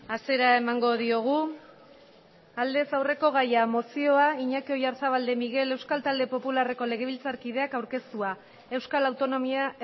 hasiera emango diogu mesedez bakoitza zuen eserlekuetan eseri aldez aurreko gaia mozioa iñaki oyarzabal de miguel euskal talde popularreko legebiltzarkideak aurkeztua euskal autonomia